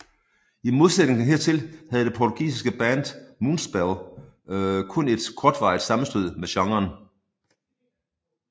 I modsætning hertil havde det portugisiske band Moonspell kun et kortvarigt sammenstød med genren